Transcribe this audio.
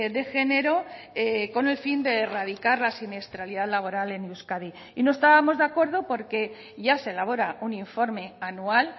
de género con el fin de erradicar la siniestralidad laboral en euskadi y no estábamos de acuerdo porque ya se elabora un informe anual